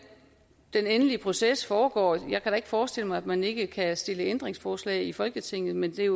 den endelige proces skal foregå jeg kan da ikke forestille mig at man ikke kan stille ændringsforslag i folketinget men der